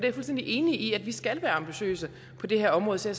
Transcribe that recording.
er fuldstændig enig i at vi skal være ambitiøse på det her område så